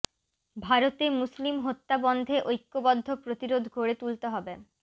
ভারতে মুসলিম হত্যা বন্ধে ঐক্যবদ্ধ প্রতিরোধ গড়ে তুলতে হবে